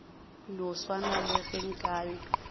no swana le ge nkabe